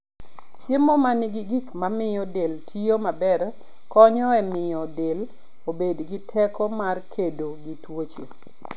Chiemo ma nigi gik mamiyo del tiyo maber konyo e miyo del obed gi teko mar kedo gi tuoche.